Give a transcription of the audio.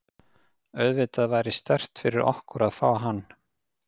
Auðvitað væri sterkt fyrir okkur að fá hann.